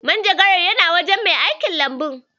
Manjagarar yana wajen mai aikin Lambun.